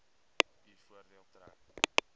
u voordeel trek